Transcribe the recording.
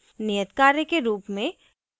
नियत कार्य के रूप में